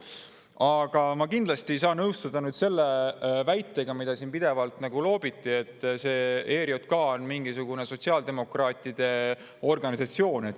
Aga ma kindlasti ei saa nõustuda selle väitega, mida siin pidevalt loobiti, et ERJK on mingisugune sotsiaaldemokraatide organisatsioon.